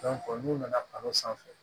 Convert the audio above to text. n'u nana ka n'o sanfɛ